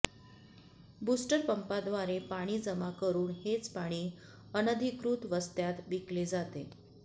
बुस्टरपंपाद्वारे पाणी जमा करून हेच पाणी अनधिकृत वस्त्यांत विकले जाते